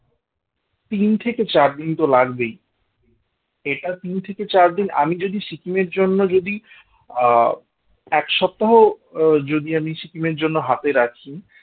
তিন থেকে চার দিন তো লাগবেই এটা তিন থেকে চার দিন আমি যদি সিকিমের জন্য যদি আহ এক সপ্তাহ আহ যদি আমি সেখানে জন্য হাতে রাখি